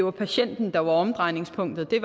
er patienten der er omdrejningspunktet det er